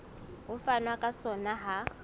ho fanwa ka sona ha